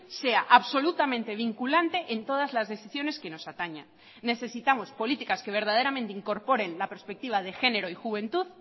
sea absolutamente vinculante en todas las decisiones que nos ataña necesitamos políticas que verdaderamente incorporen la perspectiva de género y juventud